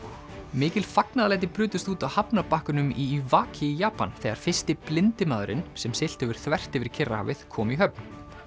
mikil fagnaðarlæti brutust út á hafnarbakkanum í Iwaki í Japan þegar fyrsti blindi maðurinn sem siglt hefur þvert yfir Kyrrahafið kom í höfn